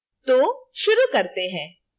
तो शुरू करते हैं